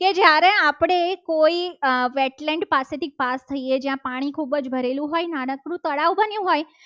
એ આપણે કોઈ weight land પાસેથી પાસ થઈએ. જ્યાં પાણી ખૂબ જ ભરેલું હોય તળાવ બન્યું હોય.